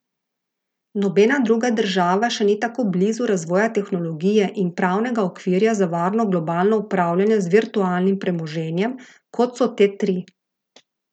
Nobena druga država še ni tako blizu razvoja tehnologije in pravnega okvirja za varno globalno upravljanje z virtualnim premoženjem , kot so te tri.